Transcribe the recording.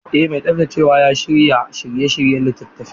Eh mai tsaftacewa ya shirya shiryayyen littafin.